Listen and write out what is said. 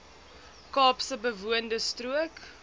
kaapse bewoonde strook